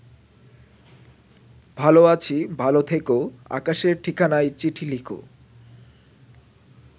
ভালো আছি ভালো থেকো আকাশের ঠিকানায় চিঠি লিখো